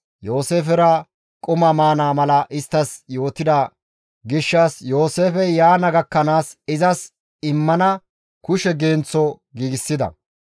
Yooseefera quma maana mala isttas yootettida gishshas Yooseefey yaana gakkanaas izas immana kushe genththo giigsida.